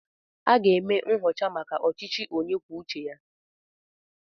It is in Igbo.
Aga m eme nchọcha maka ọchịchị onye kwuo uche ya.